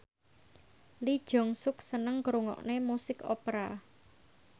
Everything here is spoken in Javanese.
Lee Jeong Suk seneng ngrungokne musik opera